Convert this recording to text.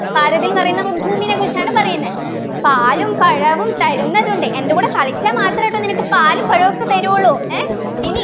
പാരതിൽ ന്നു പറയുന്നത് ഭൂമിനെകുറിച്ചാണ് പറയുന്നെ പാലും പഴവും തരുന്നതുണ്ട് എൻ്റെ കൂടെ കളിച്ചാൽ മാത്രേട്ടോ നിനക്ക് പാലും പഴവും ഒക്കെ തരൂള്ളൂ ഏർ ഇനി